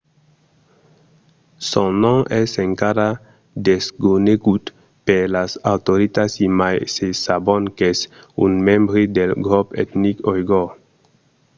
son nom es encara desconegut per las autoritats e mai se sabon qu'es un membre del grop etnic oigor